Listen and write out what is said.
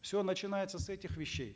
все начинается с этих вещей